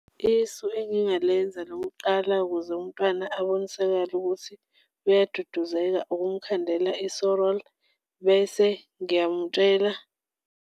Isu engingalenza lokuqala ukuze umntwana abonisakale ukuthi uyaduduzeka ukumkhandela bese ngiyamutshela.